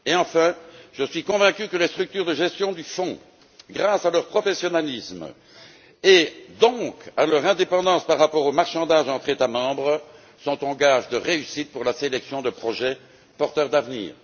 Enfin, je suis convaincu que les structures de gestion du Fonds, grâce à leur professionnalisme et donc à leur indépendance par rapport aux marchandages entre États membres, sont un gage de réussite pour la sélection de projets porteurs d'avenir.